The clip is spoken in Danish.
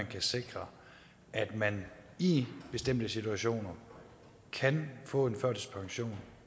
kan sikres at man i bestemte situationer kan få